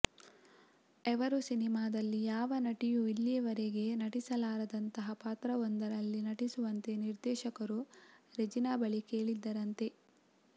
ಎವರು ಸಿನಿಮಾದಲ್ಲಿ ಯಾವ ನಟಿಯೂ ಇಲ್ಲಿಯವರೆಗೆ ನಟಿಸಲಾರದಂತಹ ಪಾತ್ರವೊಂದರಲ್ಲಿ ನಟಿಸುವಂತೆ ನಿರ್ದೇಶಕರು ರೆಜಿನಾ ಬಳಿ ಕೇಳಿದ್ದರಂತೆ